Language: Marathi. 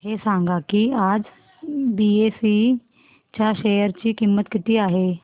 हे सांगा की आज बीएसई च्या शेअर ची किंमत किती आहे